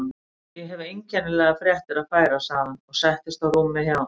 Ég hef einkennilegar fréttir að færa sagði hann og settist á rúmið hjá